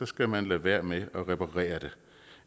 skal man lade være med at reparere det